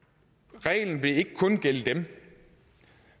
men reglen vil ikke kun gælde dem